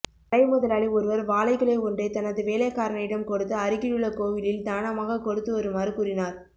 கடை முதலாளி ஒருவர் வாழைக்குலை ஒன்றைத் தனது வேலைக்காரனிடம் கொடுத்து அருகிலுள்ள கோயிலில் தானமாகக் கொடுத்து வருமாறு கூறினார்